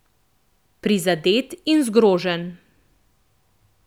Prizadet in zgrožen.